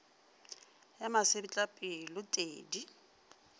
ya masetlapelo t e di